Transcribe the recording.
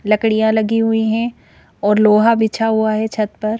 लकड़ियां लगी हुई हैं और लोहा बिछा हुआ है छत पर।